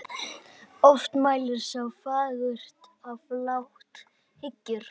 Oft mælir sá fagurt er flátt hyggur.